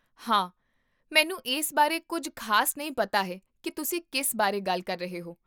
ਹਾਂ, ਮੈਨੂੰ ਇਸ ਬਾਰੇ ਕੁੱਝ ਖ਼ਾਸ ਨਹੀਂ ਪਤਾ ਹੈ ਕੀ ਤੁਸੀਂ ਕਿਸ ਬਾਰੇ ਗੱਲ ਕਰ ਰਹੇ ਹੋ